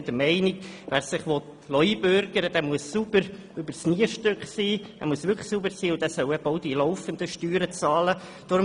Wir sind der Meinung, dass wer sich einbürgern lassen will, sauber übers Nierstück sein und auch die laufenden Steuern bezahlen muss.